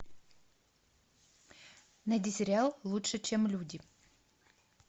найди сериал лучше чем люди